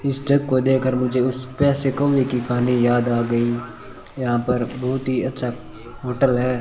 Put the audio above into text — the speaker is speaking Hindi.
इस जग को देखकर मुझे उस प्यासे कौए की कहानी याद आ गई यहां पर बहुत ही अच्छा होटल है।